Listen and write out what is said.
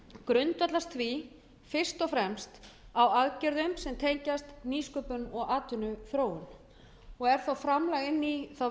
grundvallast því fyrst og fremst á aðgerðum sem tengjast nýsköpun og atvinnuþróun og er framlag inn í þá vinnu